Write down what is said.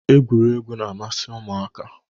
Egwuregwu na- amasị ụmụaka